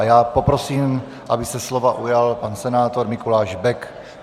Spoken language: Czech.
A já poprosím, aby se slova ujal pan senátor Mikuláš Bek.